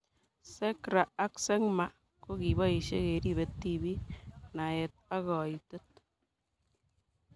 SeGRA ak SeGMA ko kipoishe keripe tipik , naet ak kaitet